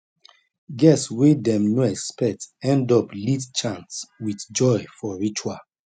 guests wey dem no expect end up lead chant with joy for ritual